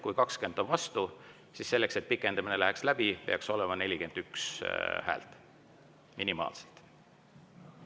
Kui 20 on vastu, siis selleks, et pikendamine läheks läbi, peaks olema minimaalselt 41 häält.